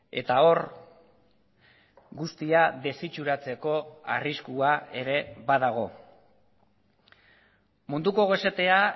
eta hor guztia desitxuratzeko arriskua ere badago munduko gosetea